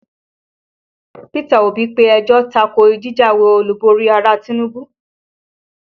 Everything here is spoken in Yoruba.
Peter Obi pe ẹjọ́ ta ko jíjáwé Olúborí Ààrẹ Tinubu